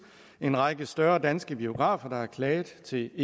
en række større danske biografer der har klaget til